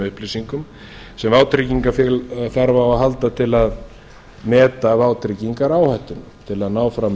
upplýsingum sem vátryggingafélag þarf á að halda til að meta vátryggingaráhættuna til að ná fram